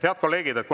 Head kolleegid!